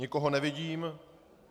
Nikoho nevidím.